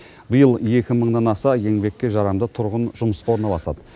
биыл екі мыңнан аса еңбекке жарамды тұрғын жұмысқа орналасады